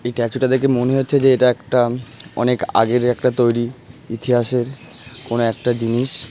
এই স্ট্যাচু টা দেখে মনে হচ্ছে যে এটা একটাঅনেক আগের একটা তৈরী ইতিহাসের কোন একটা জিনিস।